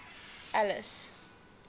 alice